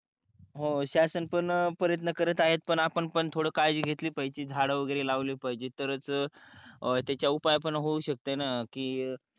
हो शासन पण परेतन करत आहेत पण आपण पण थोल काळजी घेतली पाहिजे झाळ वागेरे लावले पाहजेत तरच अं त्याच्या उपाय पण होऊ शकते ना की